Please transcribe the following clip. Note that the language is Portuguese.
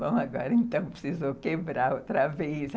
Bom, agora, então, precisou quebrar outra vez.